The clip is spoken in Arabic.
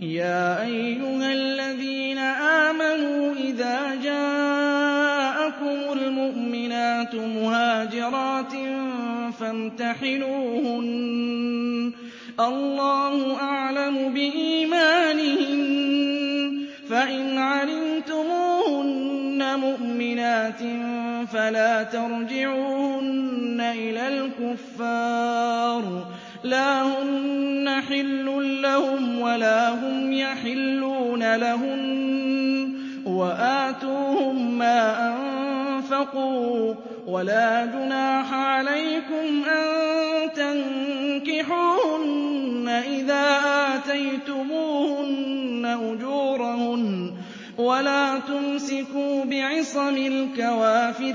يَا أَيُّهَا الَّذِينَ آمَنُوا إِذَا جَاءَكُمُ الْمُؤْمِنَاتُ مُهَاجِرَاتٍ فَامْتَحِنُوهُنَّ ۖ اللَّهُ أَعْلَمُ بِإِيمَانِهِنَّ ۖ فَإِنْ عَلِمْتُمُوهُنَّ مُؤْمِنَاتٍ فَلَا تَرْجِعُوهُنَّ إِلَى الْكُفَّارِ ۖ لَا هُنَّ حِلٌّ لَّهُمْ وَلَا هُمْ يَحِلُّونَ لَهُنَّ ۖ وَآتُوهُم مَّا أَنفَقُوا ۚ وَلَا جُنَاحَ عَلَيْكُمْ أَن تَنكِحُوهُنَّ إِذَا آتَيْتُمُوهُنَّ أُجُورَهُنَّ ۚ وَلَا تُمْسِكُوا بِعِصَمِ الْكَوَافِرِ